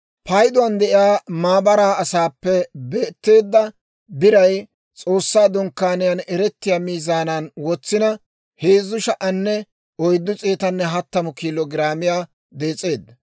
Payduwaan de'iyaa maabaraa asaappe beetteedda biray S'oossaa Dunkkaaniyaan eretiyaa miizaanan wotsina, 3,430 kiilo giraamiyaa dees'eedda.